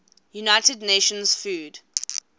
united nations food